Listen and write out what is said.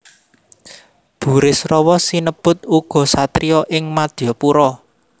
Burisrawa sinebut uga satriya ing Madyapura